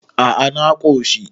a a na koshi